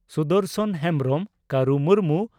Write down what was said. Sudarshan Hembrom Karu Murmu